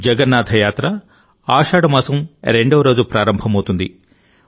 జగన్నాథ యాత్ర ఆషాఢ మాసం రెండవ రోజు ప్రారంభమవుతుంది